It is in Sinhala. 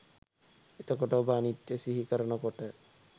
එතකොට ඔබ අනිත්‍යය සිහිකරන කොට